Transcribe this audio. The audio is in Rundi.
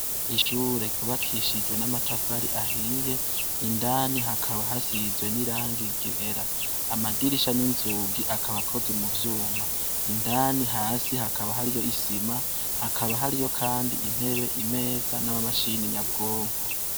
Ishure ryubakishije n' amatafari ahiye indani hakaba hasize n' irangi ryera amadirisha n' inzugi akaba akozwe muvyuma indani hasi hakaba hariyo isima hakaba hariyo kandi intebe, imeza n' amamashini nyabwonko.